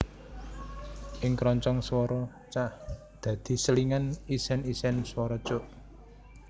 Ing kroncong swara cak dadi selingan isèn isèn swara cuk